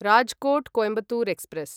Rajkot Coimbatore express